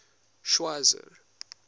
schweizer